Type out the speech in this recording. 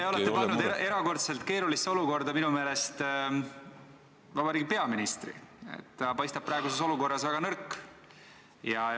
Te olete pannud minu meelest erakordselt keerulisse olukorda peaministri, ta paistab praeguses olukorras väga nõrk.